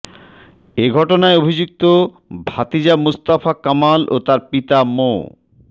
এঘটনায় অভিযুক্ত ভাতিজা মোস্তফা কামাল ও তার পিতা মো